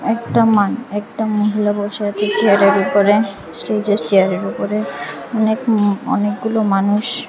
একটা মান একটা মহিলা বসে আছে স্টেজে চেয়ারের ওপরে অনেক হম অনেকগুলো মানুষ।